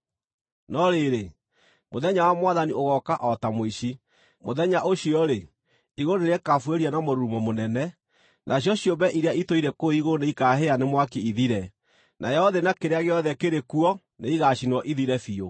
No rĩrĩ, mũthenya wa Mwathani ũgooka o ta mũici. Mũthenya ũcio-rĩ, igũrũ nĩrĩkabuĩria na mũrurumo mũnene; nacio ciũmbe iria itũire kũu igũrũ nĩikaahĩa nĩ mwaki ithire, nayo thĩ na kĩrĩa gĩothe kĩrĩ kuo nĩigacinwo ithire biũ.